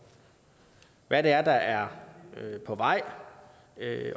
hvad der er på vej